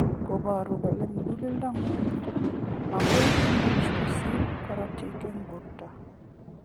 Koboru kole mukuleldo ng'ung makoi imuch kosirto karotik eng borto.